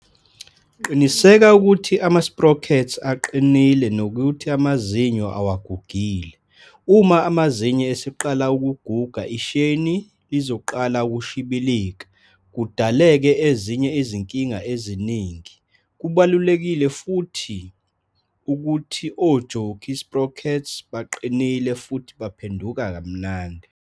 Qiniseka ukuthi ama-sprockets aqinile nokuthi amazinyo awagugile. Uma amazinyo eseqala ukuguga isheyini lizoqala ukushibilika kudaleke ezinye izinkinga eziningi. Kubalukile futhi ukuthi o-jockey sprockets baqinile futhi baphenduka kamnandi.